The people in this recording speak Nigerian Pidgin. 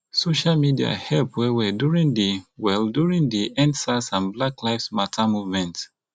social media help well well during di well during di endsars and black lives matter movement